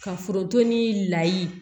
Ka foronto ni layi